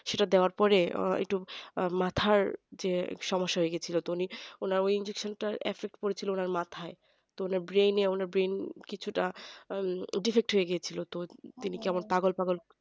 সেটা দেওয়ার পরে একটু মাথার যে সমস্যা হয়েগেছিল তো ওনার ওই injection টা করেছিল ওনার মাথাই তো ওনার brain এ কিছু টা defeat হয়ে গেছিল তো ওনার কি পাগল পাগল